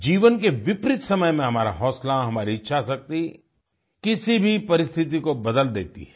जीवन के विपरीत समय में हमारा हौसला हमारी इच्छाशक्ति किसी भी परिस्थिति को बदल देती है